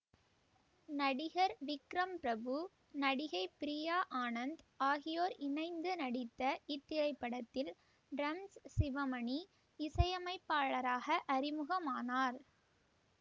நடிகர் விக்ரம் பிரபு நடிகை பிரியா ஆனந்த் ஆகியோர் இணைந்து நடித்த இத்திரைப்படத்தில் டிரம்ஸ் சிவமணி இசையமைப்பாளராக அறிமுகமானார்